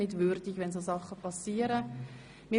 13. Juni 2017, 09.00-11.37 Uhr Ursula Zybach, Spiez (SP)